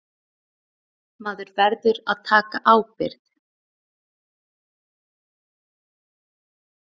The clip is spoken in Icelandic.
Maður verður að taka ábyrgð.